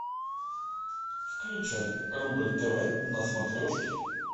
включай рубль тв на смотрешке